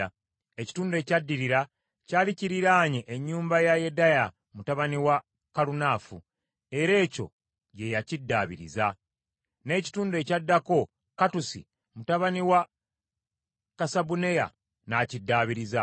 Ekitundu ekyaddirira kyali kiriraanye ennyumba ya Yedaya mutabani wa Kalunafu, era ekyo kye yaddaabiriza; n’ekitundu ekyaddako Kattusi mutabani wa Kasabuneya n’akiddaabiriza.